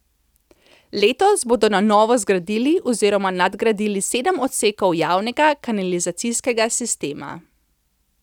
Letos bodo na novo zgradili oziroma nadgradili sedem odsekov javnega kanalizacijskega sistema.